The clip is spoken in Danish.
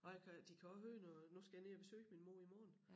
Og jeg kan de kan også høre når nu skal jeg ned og besøge min mor i morgen